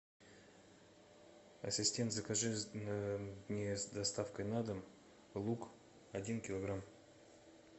ассистент закажи мне с доставкой на дом лук один килограмм